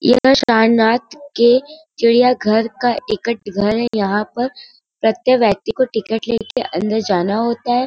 यह सारनाथ के चिड़ियाघर का एक टिकट घर है यहां पर प्रत्येक व्यक्ति को टिकट लेके अंदर जाना होता है|